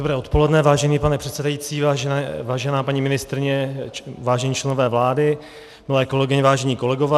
Dobré odpoledne, vážený pane předsedající, vážená paní ministryně, vážení členové vlády, milé kolegyně, vážení kolegové.